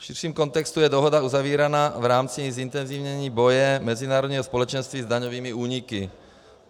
V širším kontextu je dohoda uzavírána v rámci zintenzivnění boje mezinárodního společenství s daňovými úniky.